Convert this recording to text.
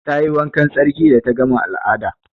Ta yi wankan tsarki da ta gama al'ada.